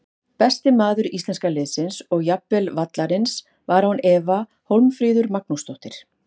Besti maður íslenska liðsins og jafnvel vallarins var án efa Hólmfríður Magnúsdóttir.